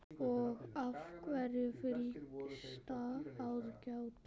Og af hverju fyllsta aðgát?